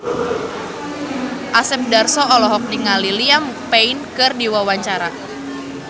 Asep Darso olohok ningali Liam Payne keur diwawancara